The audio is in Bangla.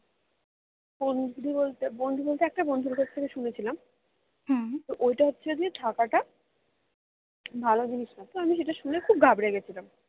বন্ধুরি বলতে বন্ধ বলতে একটা বন্ধর কাছ থেকে শুনেছিলাম তো ওইটা হচ্ছে যে থাকাটা ভালো জিনিস না তো আমি সেটা শুনে খুব ঘাবড়ে গেছিলাম